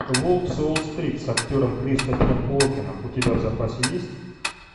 волк с уолл стрит с актером кристофером уокеном у тебя в запасе есть